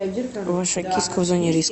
ваша киска в зоне риска